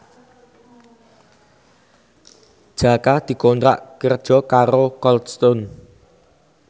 Jaka dikontrak kerja karo Cold Stone